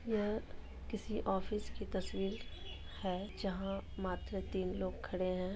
यह किसी ऑफिस की तस्वीर है जहा मात्र तीन लोग खड़े है।